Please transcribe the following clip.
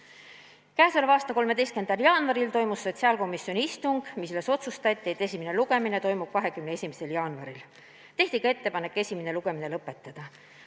K.a 13. jaanuaril toimus sotsiaalkomisjoni istung, mille käigus otsustati, et eelnõu esimene lugemine toimub 21. jaanuaril, samuti tehti ettepanek esimene lugemine lõpetada.